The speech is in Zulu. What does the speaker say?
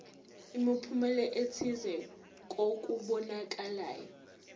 imiphumela ethile kokubonakalayo